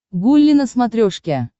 гулли на смотрешке